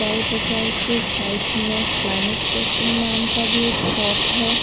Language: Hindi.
स्टाइल बाजार के साइड में प्लैनेट फैशन नाम का भी एक शॉप है।